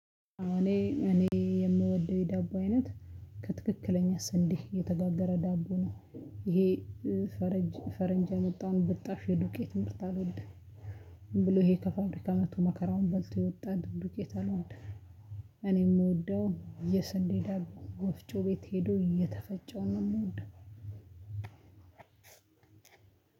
እኔ እኔ የምወደው የዳቦ አይነት ከትክክለኛ ስንዴ የተጋገረ ዳቦ ነው ይሄ ፈረንጅ ፈረንጅ የአመጠውን ብጣሽ ውይም የዱቄት ምርት አይደለም ዝምብሎ ይሄ ከፋብሪካ መጥቶ መከራውን በልቶ የወጣ ዱቄት አልወድም። እኔ የምወደው የስንዴ ዳቦ ወፍጮ ቤት ሄዶ የተፈጨው ነው የምወደው።